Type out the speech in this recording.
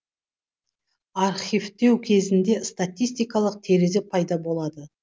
архивтеу кезінде статистикалық терезе пайда болады